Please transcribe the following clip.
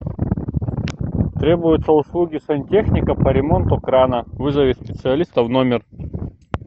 требуются услуги сантехника по ремонту крана вызови специалиста в номер